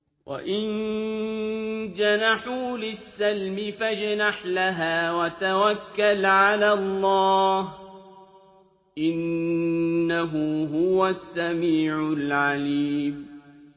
۞ وَإِن جَنَحُوا لِلسَّلْمِ فَاجْنَحْ لَهَا وَتَوَكَّلْ عَلَى اللَّهِ ۚ إِنَّهُ هُوَ السَّمِيعُ الْعَلِيمُ